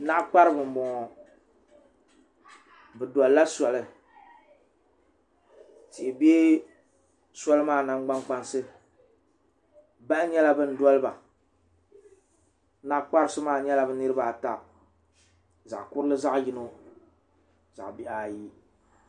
naɣa kparibi n bɔŋɔ bi dolla sɔli tihi bɛ sɔli maa nangbani kpansi bahi nyɛla bin dɔliba naɣa kparisi maa nyɛla bi niraba ata zaɣ kurili zaɣ yino zaɣ bihi ayi